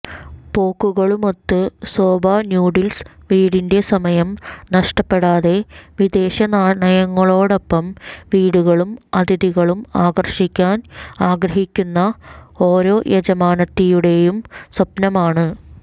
പോക്കുകളുമൊത്ത് soba noodles വീടിന്റെ സമയം നഷ്ടപ്പെടാതെ വിദേശ നാണയങ്ങളോടൊപ്പം വീടുകളും അതിഥികളും ആകർഷിക്കാൻ ആഗ്രഹിക്കുന്ന ഓരോ യജമാനത്തിയുടെയും സ്വപ്നമാണ്